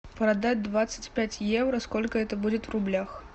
продать двадцать пять евро сколько это будет в рублях